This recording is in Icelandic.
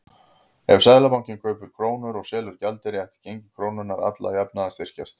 Ef Seðlabankinn kaupir krónur og selur gjaldeyri ætti gengi krónunnar alla jafna að styrkjast.